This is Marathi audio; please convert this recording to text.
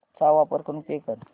चा वापर करून पे कर